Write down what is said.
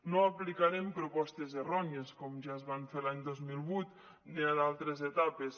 no aplicarem propostes errònies com ja es van fer l’any dos mil vuit o en d’altres etapes